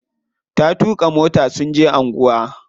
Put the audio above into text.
Ta tuƙa mota sun je anguwa.